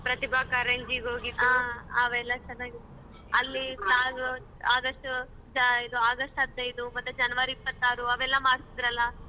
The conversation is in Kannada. ಪ್ರತಿಭಾ ಕಾರಂಜಿಗ್ ಹೋಗಿದ್ದುಅವೆಲ್ಲ ಚನಾಗಿತ್ತು August ಜಾ ಇದು August ಹದಿನೈದು ಮತ್ತೆ January ಇಪ್ಪತ್ತಾರು ಅವೆಲ್ಲಾ ಮಾಡ್ತಿದ್ರಲ್ಲ?